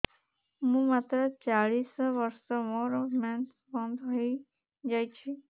ମୁଁ ମାତ୍ର ଚାଳିଶ ବର୍ଷ ମୋର ମେନ୍ସ ବନ୍ଦ ହେଇଯାଇଛି